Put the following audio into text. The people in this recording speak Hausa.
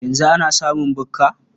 Yanzu ana samun bukka?